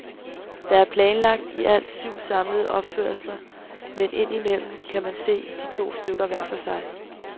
Der er planlagt i alt syv samlede opførelser, men ind imellem kan man se de to stykker hver for sig.